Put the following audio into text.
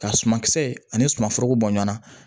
Ka suma kisɛ ani sumanforo bɔ ɲɔan na